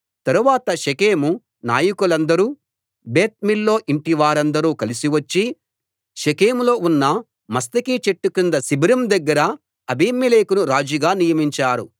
తరువాత షెకెము నాయకులందరూ Beth Millo ఇంటివారందరూ కలిసి వచ్చి షెకెములో ఉన్న మస్తకి చెట్టు కింద శిబిరం దగ్గర అబీమెలెకును రాజుగా నియమించారు